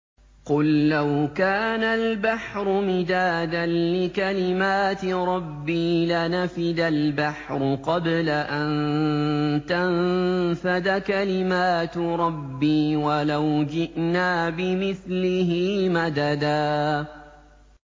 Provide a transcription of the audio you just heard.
قُل لَّوْ كَانَ الْبَحْرُ مِدَادًا لِّكَلِمَاتِ رَبِّي لَنَفِدَ الْبَحْرُ قَبْلَ أَن تَنفَدَ كَلِمَاتُ رَبِّي وَلَوْ جِئْنَا بِمِثْلِهِ مَدَدًا